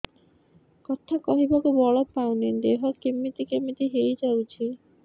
କଥା କହିବାକୁ ବଳ ପାଉନି ଦେହ କେମିତି କେମିତି ହେଇଯାଉଛି